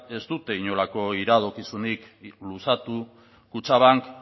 ez dute inolako iradokizunik luzatu kutxabank